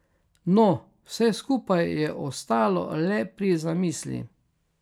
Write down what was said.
No, vse skupaj je ostalo le pri zamisli.